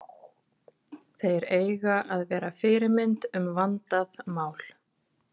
Þeir eiga að vera fyrirmynd um vandað mál.